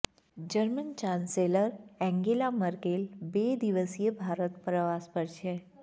German chancellor Angela Merkel બે દિવસીય ભારત પ્રવાસ પર છે